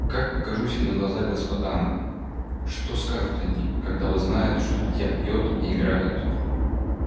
как покажусь я на глаза господам что скажут они когда узнают что дитя пьёт и играет